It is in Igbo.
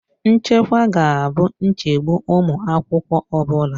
Nchekwa ga-abụ nchegbu ụmụ akwụkwọ ọ bụla